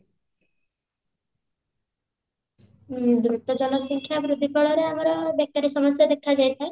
ଉଁ ଦ୍ରୁତ ଜନସଂଖ୍ୟା ବୃଦ୍ଧି ଫଳରେ ଆମର ବେକାରୀ ସମସ୍ୟା ଦେଖାଯାଇଥାଏ